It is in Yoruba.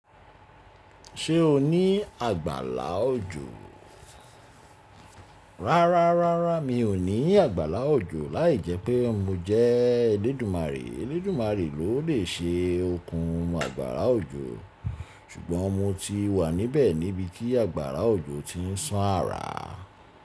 Ṣé o ní àgbàlá òjò? Rárá, rárá mi ò ní àgbàlá òjò lai jẹ́ pé mo jẹ́ Elédùmarè. Elédùmarè ló le ṣe okun àgbàlá òjò. Ṣùgbọ́n mo ti wà níbẹ̀ níbi tí àgbàrá òjò ti ń ṣàn àrà.